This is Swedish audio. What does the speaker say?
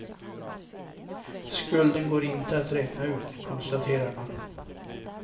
Skulden går inte att räkna ut, konstaterar man.